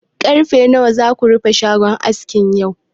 Ƙarfe nawa zaka rufe shagon askin yau?